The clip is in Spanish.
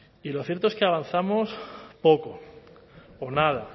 y lo cierto es que avanzamos poco o nada